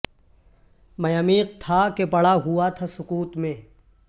میں عمیق تھا کہ پڑا ہوا تھا سکوت میں